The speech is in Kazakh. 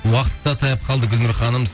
уакыт та таяп калды гүльнұр ханым